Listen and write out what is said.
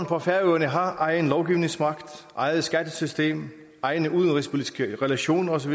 på færøerne har egen lovgivningsmagt eget skattesystem egne udenrigspolitiske relationer osv